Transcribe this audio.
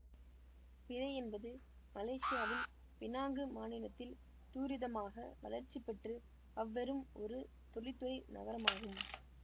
பிறை என்பது மலேசியாவின் பினாங்கு மாநிலத்தில் துரிதமாக வளர்ச்சி பெற்று அவ்ரும் ஒரு தொழில்துறை நகரமாகும்